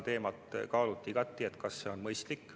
Kaaluti igati, kas see on mõistlik.